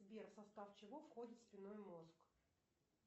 сбер в состав чего входит спинной мозг